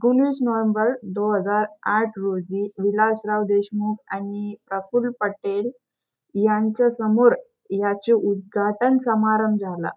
उन्नीस नोव्हेंबर दो हजार आठ रोजी विलासराव देशमुख आणि प्रफुल्ल पटेल यांच्यासमोर याचे उद्घाटन समारंभ झाला.